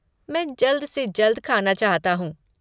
मैं जल्द से जल्द ख़ाना चाहता हूँ।